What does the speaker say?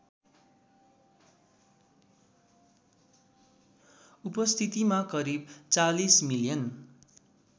उपस्थितिमा करिब ४० मिलियन